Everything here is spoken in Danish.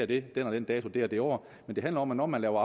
det den og den dato det og det år men det handler om hvornår man laver